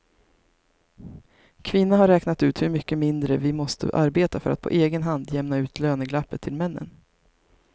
Kvinna har räknat ut hur mycket mindre vi måste arbeta för att på egen hand jämna ut löneglappet till männen.